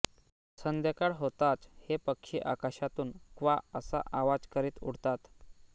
संध्याकाळ होताच हे पक्षी आकाशातून क्वा असा आवाज करीत उडतात